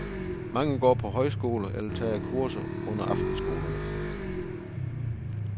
Mange går på højskole eller tager kurser under aftenskolerne.